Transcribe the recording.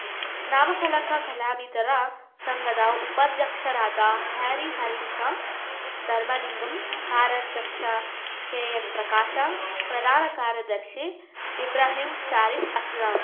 ನಾಮ ಫಲಕ ಕಲಾವಿದರ ಸಂಘದ ಉಪಾಧ್ಯಕ್ಷರಾದ ಹ್ಯಾರಿ ಹರೀಶ ಧರ್ಮಲಿಂಗಮ್‌ ಕಾರ್ಯಾಧ್ಯಕ್ಷ ಕೆಎನ್‌ಪ್ರಕಾಶ ಪ್ರಧಾನ ಕಾರ್ಯದರ್ಶಿ ಇಬ್ರಾಹಿಂ ಷರೀಫ್‌ ಅಸ್ಲಂ